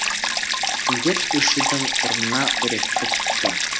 індет өшудің орнына өрекпіп тұр